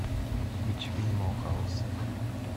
включи минимал хаус